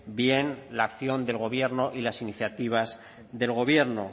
bien la acción del gobierno y las iniciativas del gobierno